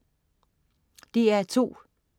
DR2: